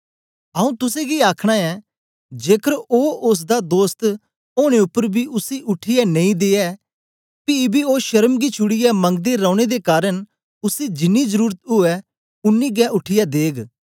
आऊँ तुसेंगी आखना ऐं जेकर ओ ओसदा दोस्त ओनें उपर बी उसी उठीयै नेई दे फिर बी ओ शर्म गी छुड़ीयै मंगदे रौने दे कारन उसी जिन्नी जरुरत ऊऐ उन्नी गै उठीयै देग